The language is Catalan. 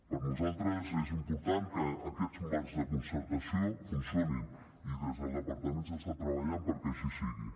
per nosaltres és important que aquests marcs de concertació funcionin i des del departament s’està treballant perquè així sigui